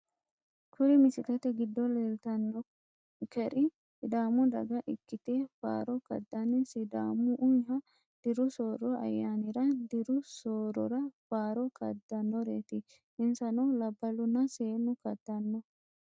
Kuri misilete giddo leeltanonkeri sidaamu daga ikite faaro kadani sidaamaho diru sooro ayanira diru soorora faaro kadanoreeti insano labalunna seenu kadano.